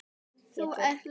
Þú ert létt!